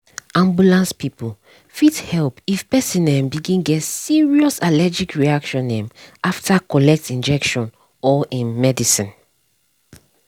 ambulance people fit help if person um begin get serious allergic reaction um after collect injection or um medicine.